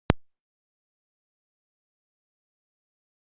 Vilt þú Davíð aftur í Seðlabankann?